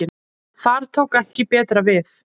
Þar tók ekki betra við.